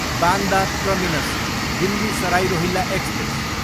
Bandra terminus, Delhi Sarai Rohilla express